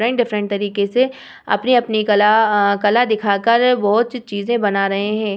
Different - different तरीके से अपनी-अपनी कला अ कला दिखा कर बोहत चीज़ें बना रहे हैं।